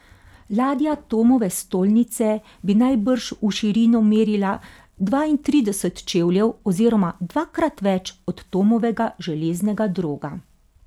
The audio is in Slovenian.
Ladja Tomove stolnice bi najbrž v širino merila dvaintrideset čevljev oziroma dvakrat več od Tomovega železnega droga.